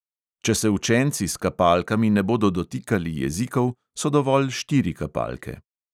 Če se učenci s kapalkami ne bodo dotikali jezikov, so dovolj štiri kapalke.